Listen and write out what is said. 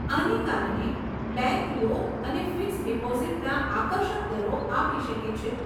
આને કારણે bank loan અને ફિક્સ્ડ ડીપોઝીટના આકર્ષક દરો આપી શકે છે.